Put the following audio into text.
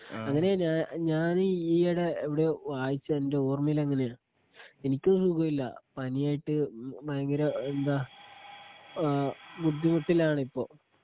അങ്ങനെയാ ഞാന് ഞാൻ ഈയിടെ എവിടെയോ വായിച്ചത് എന്റെ ഓർമയിൽ അങ്ങനെയാ എനിക്കും സുഖമില്ല. പനിയായിട്ട് ഭയങ്കര എന്താ ബുദ്ധിമുട്ടിലാണിപ്പോ